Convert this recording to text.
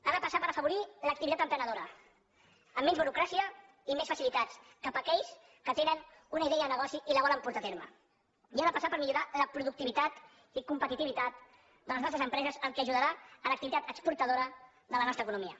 ha de passar per afavorir l’activitat emprenedora amb menys burocràcia i més facilitats cap a aquells que tenen una idea de negoci i la volen portar a terme i ha de passar per millorar la productivitat i la competitivitat de les nostres empreses que ajudarà a l’activitat exportadora de la nostra economia